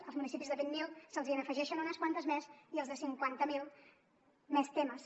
als municipis de vint mil se’ls n’hi afegeixen unes quantes més i als de cinquanta mil més temes